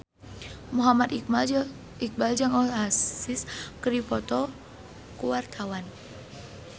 Muhammad Iqbal jeung Oasis keur dipoto ku wartawan